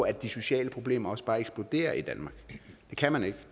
at de sociale problemer også bare eksploderer i danmark det kan man ikke